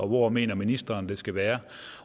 hvor mener ministeren det skal være